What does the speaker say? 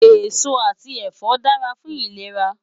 Esó ati ẹfọ dàrá fún ilérá